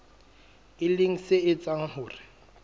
e leng se etsang hore